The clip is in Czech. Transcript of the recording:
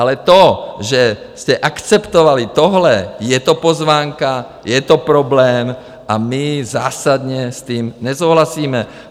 Ale to, že jste akceptovali tohle, je to pozvánka, je to problém a my zásadně s tím nesouhlasíme.